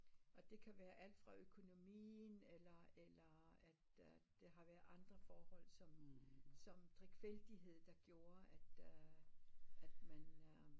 Og det kan være alt fra økonomien eller eller at at der har været andre forhold som som drikfældighed der gjorde at øh at man